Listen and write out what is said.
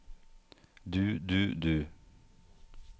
du du du